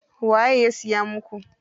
Waye ya siya muku?